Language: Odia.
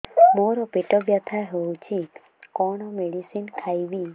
ମୋର ପେଟ ବ୍ୟଥା ହଉଚି କଣ ମେଡିସିନ ଖାଇବି